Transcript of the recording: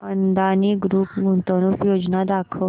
Adani group गुंतवणूक योजना दाखव